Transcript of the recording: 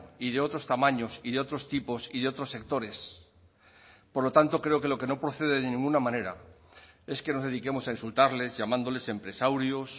y de otros tamaños y de otros tipos y de otros sectores por lo tanto creo que lo que no procede de ninguna manera es que nos dediquemos a insultarles llamándoles empresaurios